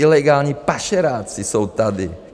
Ilegální pašeráci jsou tady.